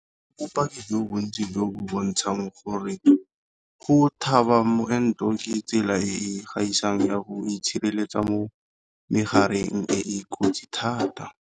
Go bopaki jo bontsi jo bo bontshang gore go tlhaba moento ke tsela e e gaisang ya go itshireletsa mo megareng e e kotsi thata.